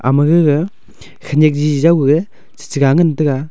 ama gega khenyak jiji jawge cheche ga ngan taiga.